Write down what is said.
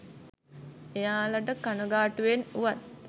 එයාලට කණගාටුවෙන් වුවත්